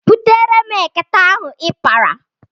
Butere m ekete ahụ ị kpara.